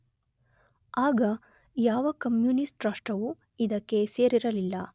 ಆಗ ಯಾವ ಕಮ್ಯೂನಿಸ್ಟ ರಾಷ್ಟ್ರವೂ ಇದಕ್ಕೆ ಸೇರಿರಲಿಲ್ಲ.